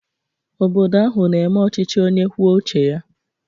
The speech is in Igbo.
Obodo ahụ na-eme ọchịchị onye kwuo uche ya